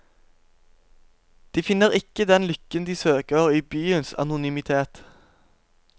De finner ikke den lykken de søker, i byens anonymitet.